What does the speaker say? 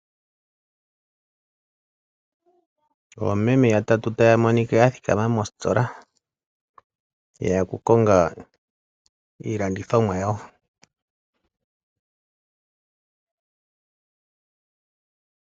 Oomeme yatatu taya monika ya thikama mositola, ye ya okukonga iilandithomwa yawo.